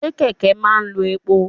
Ṣé kẹ̀kẹ́ máa ń lo epo?